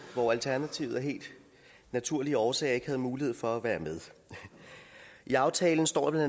hvor alternativet af helt naturlige årsager ikke havde mulighed for at være med i aftalen står der